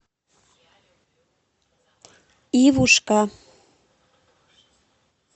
ивушка